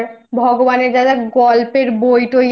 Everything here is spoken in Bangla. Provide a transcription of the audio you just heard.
করে তুই তাদের Dress up বল তারপর ভগবানের যা